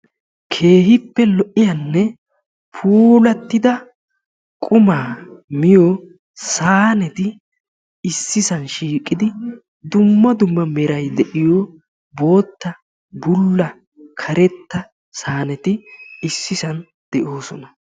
Keehippe lo'iyanne puulatidda qumaa miyo saynnetti issi bolla bootta, karettanne haratti issi bolla de'osonna.